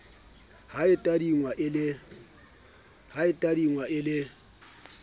ha e tadingwe e le